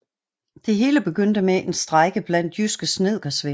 Det hele begyndte med en strejke blandt jyske snedkersvende